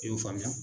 I y'o faamuya